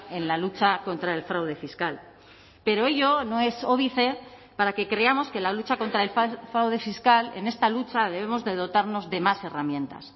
en la lucha contra el fraude fiscal pero ello no es óbice para que creamos que la lucha contra el fraude fiscal en esta lucha debemos de dotarnos de más herramientas